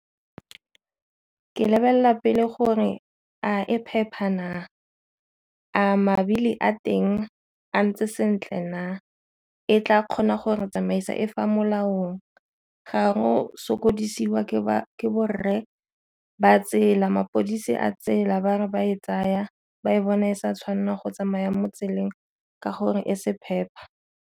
Ke lebelela pele gore a e phepa na, a mabili a teng a ntse sentle na, e tla kgona gore tsamaisa e fa molaong. Ga ro go sokodisiwa ke ba ke borre ba tsela mapodisi a tsela bangwe ba e tsaya ba e bona e sa tshwanelang go tsamaya mo tseleng ka gore e se phepa.